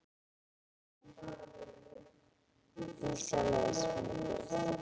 Dísa les mikið.